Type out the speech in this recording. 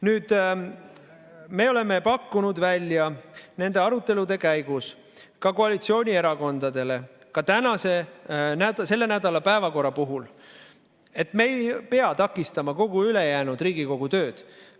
Nüüd, me oleme pakkunud välja nende arutelude käigus ka koalitsioonierakondadele, ka selle nädala päevakorra puhul, et me ei pea takistama kogu ülejäänud Riigikogu tööd.